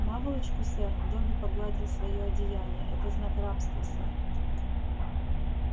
наволочку сэр добби погладил своё одеяние это знак рабства сэр